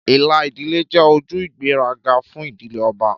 Ìlà ìdílé jẹ́ ojú ìgbéraga fún ìdílé ọba,